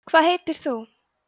hvað heitir þú